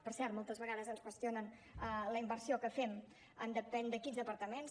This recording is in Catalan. per cert moltes vegades ens qüestionen la inversió que fem en depèn de quins departaments